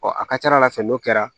a ka ca ala fɛ n'o kɛra